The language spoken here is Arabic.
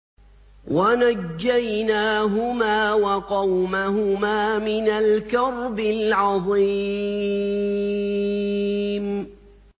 وَنَجَّيْنَاهُمَا وَقَوْمَهُمَا مِنَ الْكَرْبِ الْعَظِيمِ